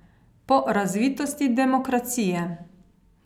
Po razvitosti demokracije.